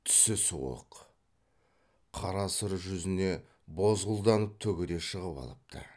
түсі суық қара сұр жүзіне бозғылданып түгі де шығып алыпты